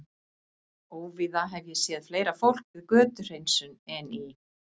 Óvíða hef ég séð fleira fólk við götuhreinsun en í